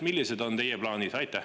Millised on teie plaanid?